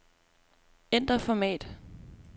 Ændr format.